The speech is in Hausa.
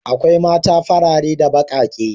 Akwai mata farare da baƙaƙe.